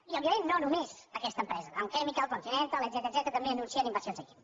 i òbviament no només aquesta empresa dow chemical continental etcètera també anuncien inversions aquí